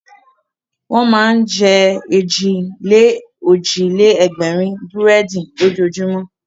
Wọ́n máa ń jẹ èjì-lé-òjì-lé-ẹgbẹ̀rún búrẹ́dì lójoojúmọ́.